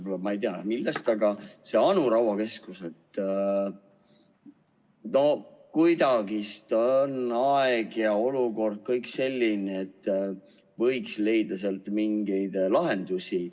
Minu arust ongi nii, ma ei tea, kuidas, aga see Anu Raua keskus, aeg ja olukord on kuidagi kõik sellised, et võiks leida seal mingeid lahendusi.